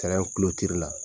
Tɛrɛn la.